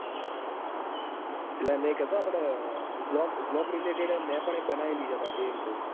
એટલે મેં કીધું કે આપડે blog blog related મેં પણ એક બનાયેલી છે પાછી એમ કઉં.